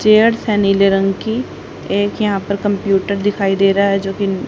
chairs है नीले रंग की एक यहां पर कंप्युटर दिखाई दे रहा है जो की--